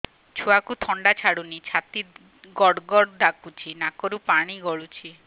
ଛୁଆକୁ ଥଣ୍ଡା ଛାଡୁନି ଛାତି ଗଡ୍ ଗଡ୍ ଡାକୁଚି ନାକରୁ ପାଣି ଗଳୁଚି